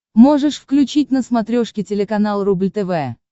можешь включить на смотрешке телеканал рубль тв